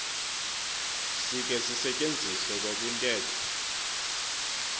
sikhe sisetyenziswe nakwintetho